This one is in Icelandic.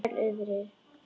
Sæl, Urður.